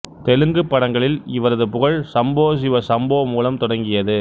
தெலுங்கு படங்களில் இவரது புகழ் சம்போ சிவ சம்போ மூலம் தொடங்கியது